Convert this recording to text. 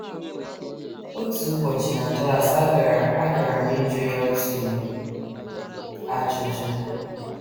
Otu ụbọchị na klas, agara agara m ịjụ ya otu ajụjụ.